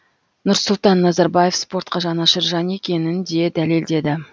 нұрсұлтан назарбаев спортқа жанашыр жан екенін де дәлелдеді